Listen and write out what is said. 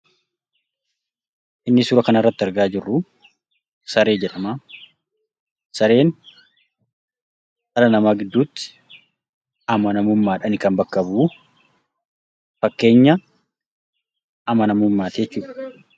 Inni suuraa kana irratti argaa jiruu Saree jedhama. Sareen dhala nama gidduutti amanamuumadhani kan bakka bu'uu. Faakkeenyaa amanamummaatti jechuudha.